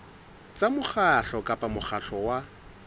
tsa mokgatlo kapa mokgatlo wa